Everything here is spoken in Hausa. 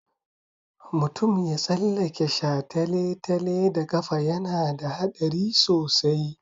Mutum ya tsallake shataletale da ƙafa yana da haɗari sosai.